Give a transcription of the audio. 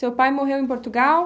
Seu pai morreu em Portugal?